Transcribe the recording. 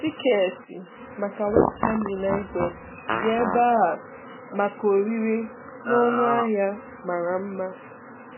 Tiketi maka West Ham United dị ebe a maka ọrịre na ọnụ ahịa mara mma.